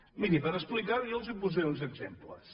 miri per explicar ho jo els en posaré uns exemples